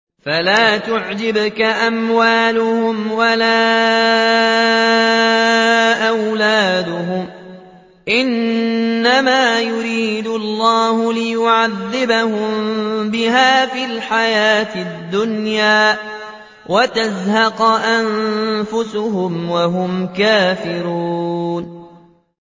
فَلَا تُعْجِبْكَ أَمْوَالُهُمْ وَلَا أَوْلَادُهُمْ ۚ إِنَّمَا يُرِيدُ اللَّهُ لِيُعَذِّبَهُم بِهَا فِي الْحَيَاةِ الدُّنْيَا وَتَزْهَقَ أَنفُسُهُمْ وَهُمْ كَافِرُونَ